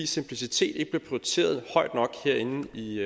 simplicitet ikke bliver prioriteret højt nok herinde i